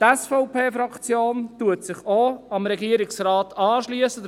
Die SVP-Fraktion schliesst sich auch dem Regierungsrat an.